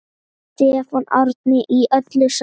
Stefán Árni: Í öllu saman?